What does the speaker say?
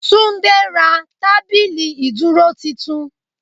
Túndé ra tábìlì ìdúró titun